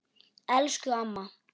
Elsku amma.